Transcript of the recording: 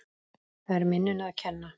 Það er minninu að kenna.